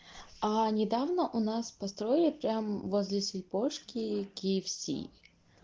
а недавно у нас построили прямо возле сильпо ножки кфс